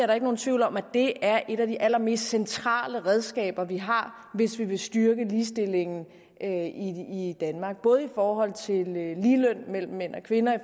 der ikke nogen tvivl om at det er et af de allermest centrale redskaber vi har hvis vi vil styrke ligestillingen i danmark både i forhold til ligeløn mellem mænd og kvinder i